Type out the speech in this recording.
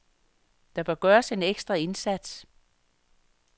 Der bør gøres en ekstra indsats.